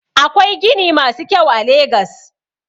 Akwai gini masu kyau a legas.